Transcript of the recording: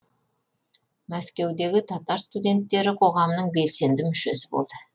мәскеудегі татар студенттері қоғамының белсенді мүшесі болды